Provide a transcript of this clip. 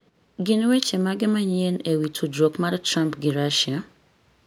gin weche mage manyien e wi tudruok mar Trump gi Russia?